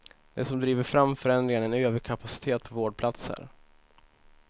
Det som driver fram förändringarna är en överkapacitet på vårdplatser.